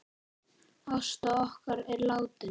Ásta okkar er látin.